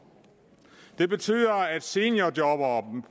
det betyder at seniorjobberne